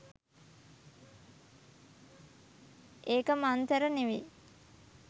ඒක මංතර නෙවෙයි.